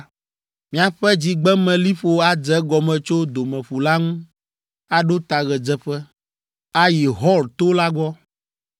Miaƒe dzigbemeliƒo adze egɔme tso Domeƒu la ŋu, aɖo ta ɣedzeƒe, ayi Hor to la gbɔ.